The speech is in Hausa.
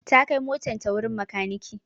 ta kai motan ta wurin makaniki